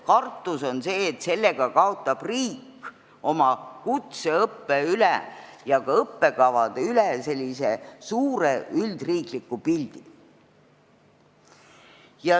Kartus on see, et sellega kaotab riik oma kutseõppe ja ka õppekavade üle suure üldriikliku pildi.